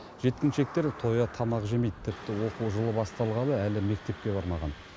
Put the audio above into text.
жеткіншектер тоя тамақ жемейді тіпті оқу жылы басталғалы әлі мектепке бармаған